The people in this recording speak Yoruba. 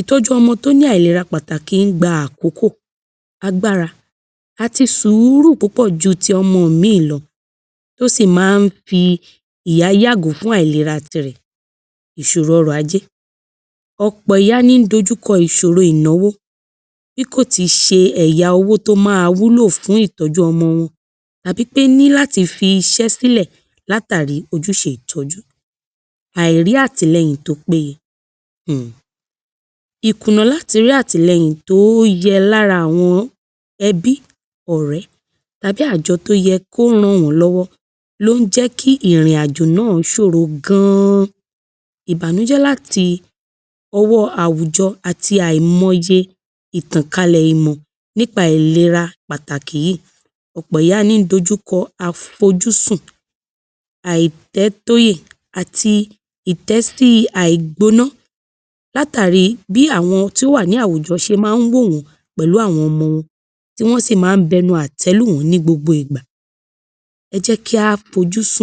Ìtó̩jú o̩mo̩ tó ní àìlera pàtàkì ń gba àkókò, agbára àti sùúrù púpò̩ ju ti o̩mo̩ mìíì lo̩, ó sì máa ń fi ìyá yàgò fún àìlera tirè̩, ìs̩òro o̩rò̩ ajé. Ò̩pò̩ ìyá ní ń dojúko̩ ìs̩òro ìnáwó, bí kò ti s̩e è̩yà owó tí ó máa wúlò fún ìtó̩jú o̩mo̩ wo̩n tàbí pé ní láti fi is̩é̩ sílè̩ látàri ojús̩e ìtó̩jú. Àìrí àtìle̩yìn tó péye – hùn! ìkùnnà láti rí àtìle̩yìn tó ye̩ lára àwo̩n e̩bí, ò̩ré̩ tàbí àjo̩ tó ye̩ kí ó ràn wó̩n ló̩wó̩ ló ń jé̩ kí ìrìnàjò náà s̩òro gan-an, ìbànújé̩ láti o̩wó̩ àwùjo̩ àti àìmo̩ye ìtànkalè̩ ìmò̩ nípa ìlera pàtàkì yìí. Ò̩pò̩ ìyá ní ń dojúko̩ àfojúsùn, àìté̩tóyè àti ìté̩sí ti àìgbó̩ná látàri tí àwo̩n tó wà láwùjo̩ s̩e máa ń wó wò̩n-ó̩n pè̩lú àwo̩n o̩mo̩ wọn, tí wó̩n sì máa ń bu e̩nu àté̩ lù wó̩n ní gbogbo ìgbà. E̩ jé̩ kí á fojúsùn.